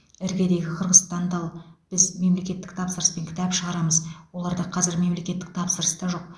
іргедегі қырғызстанды ал біз мемлекеттік тапсырыспен кітап шығарамыз оларда қазір мемлекеттік тапсырыс та жоқ